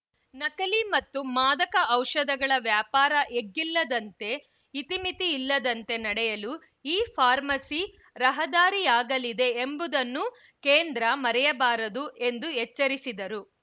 ನಕಲಿ ಮತ್ತು ಮಾದಕ ಔಷಧಗಳ ವ್ಯಾಪಾರ ಎಗ್ಗಿಲ್ಲದಂತೆ ಇತಿಮಿತಿ ಇಲ್ಲದಂತೆ ನಡೆಯಲು ಇಫಾರ್ಮಸಿ ರಹದಾರಿಯಾಗಲಿದೆ ಎಂಬುದನ್ನೂ ಕೇಂದ್ರ ಮರೆಯಬಾರದು ಎಂದು ಎಚ್ಚರಿಸಿದರು